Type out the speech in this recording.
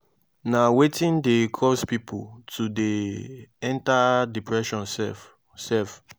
na wetin dey cause people to dey enter depression sef? sef?